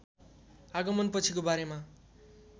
आगमन पछिको बारेमा